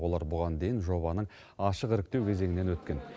олар бұған дейін жобаның ашық іріктеу кезеңінен өткен